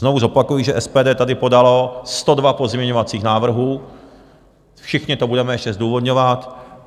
Znovu zopakuji, že SPD tady podalo 102 pozměňovacích návrhů, všichni to budeme ještě zdůvodňovat.